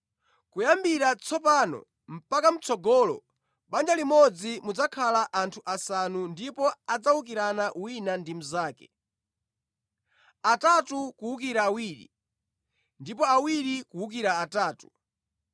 Kuyambira tsopano mpaka mʼtsogolo mʼbanja limodzi mudzakhala anthu asanu ndipo adzawukirana wina ndi mnzake, atatu kuwukira awiri, ndipo awiri kuwukira atatu.